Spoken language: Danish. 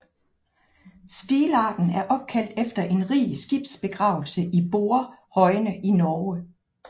Stilarten er opkaldt efter en rig skibsbegravelse i Borrehøjene i Norge